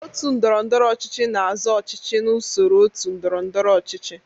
Otu ndọrọndọrọ ọchịchị na-azọ ọchịchị n'usoro otu ndọrọ ndọrọ ọchịchị.